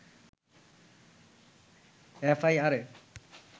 এফআইআরে